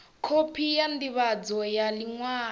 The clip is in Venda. khophi ya ndivhadzo ya liṅwalo